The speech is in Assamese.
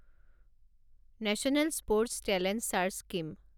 national sports talent search scheme